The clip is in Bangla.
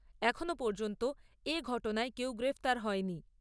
এখনও পর্যন্ত এ ঘটনায় কেউ গ্রেপ্তার হয়নি।